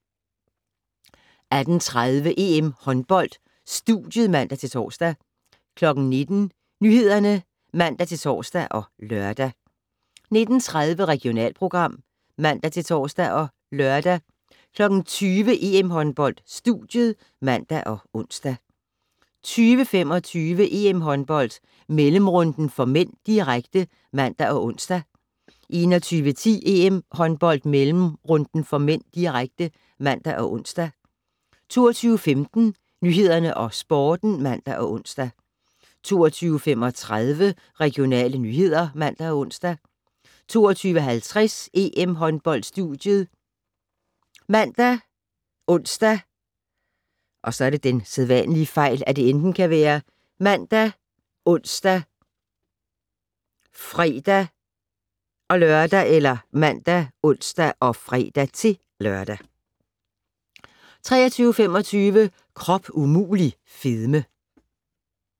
18:30: EM-håndbold: Studiet (man-tor) 19:00: Nyhederne (man-tor og lør) 19:30: Regionalprogram (man-tor og lør) 20:00: EM-håndbold: Studiet (man og ons) 20:25: EM-håndbold: Mellemrunden (m), direkte (man og ons) 21:10: EM-håndbold: Mellemrunden (m), direkte (man og ons) 22:15: Nyhederne og Sporten (man og ons) 22:35: Regionale nyheder (man og ons) 22:50: EM-håndbold: Studiet ( man, ons, fre-lør) 23:25: Krop umulig - fedme